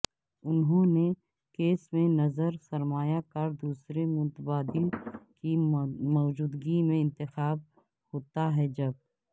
انہوں کیس میں نظر سرمایہ کار دوسرے متبادل کی موجودگی میں انتخاب ہوتا ہے جب